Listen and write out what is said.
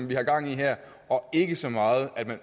vi har gang i her og ikke så meget at man